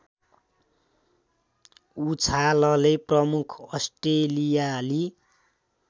उछालले प्रमुख अस्ट्रेलियाली